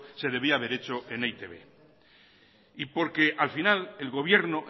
se debía haber hecho en e i te be y porque al final el gobierno